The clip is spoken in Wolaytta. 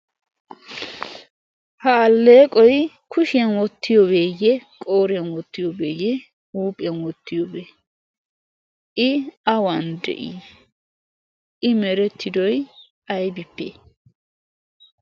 ha alleeqoy kushiyan wottiyoobeeyye qooriyan wottiyoobeeyye huuphiyan wottiyoobee i awan de'ii i meretidoy aybippe